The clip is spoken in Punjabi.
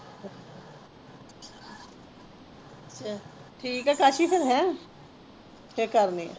ਠੀਕ ਹੈ ਕਾਸੀ ਫਿਰ ਹੈਂ ਫਿਰ ਕਰਨੀ ਆ।